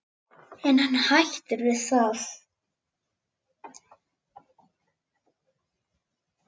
En hann hættir við það.